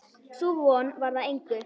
Sú von varð að engu.